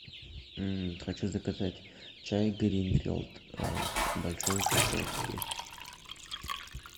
хочу заказать чай гринфилд в большой упаковке